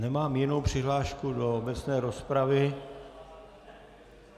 Nemám jinou přihlášku do obecné rozpravy.